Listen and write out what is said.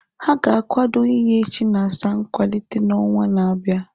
Ha ga-akwado inye Chinasa nkwalite n'ọnwa na-abịa.